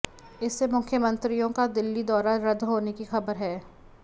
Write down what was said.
इससे मुख्यमंत्रियों का दिल्ली दौरा रद्द होने की खबर है